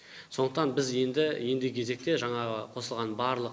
сондықтан біз енді ендігі кезекте жаңағы қосылған барлық